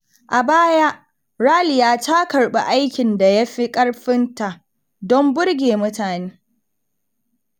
A baya, Raliya ta karɓi aikin da ya fi ƙarfin ta don burge mutane.